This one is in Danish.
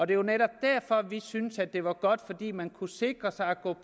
det var netop derfor vi syntes det var godt fordi man kunne sikre sig at gå